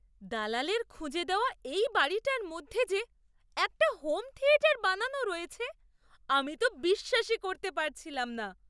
দালালের খুঁজে দেওয়া এই বাড়িটার মধ্যে যে একটা হোম থিয়েটার বানানো রয়েছে, আমি তো বিশ্বাসই করতে পারছিলাম না!